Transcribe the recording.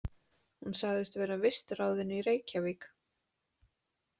Hún sagðist vera vistráðin í Reykjavík.